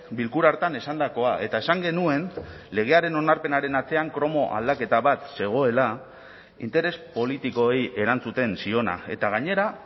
bilkura hartan esandakoa eta esan genuen legearen onarpenaren atzean kromo aldaketa bat zegoela interes politikoei erantzuten ziona eta gainera